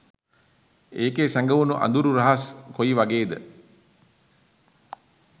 ඒකෙ සැගවුණු අදුරු රහස් කොයිවගේද?